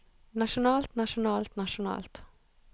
nasjonalt nasjonalt nasjonalt